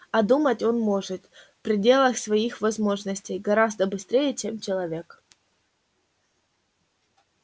а думать он может в пределах своих возможностей гораздо быстрее чем человек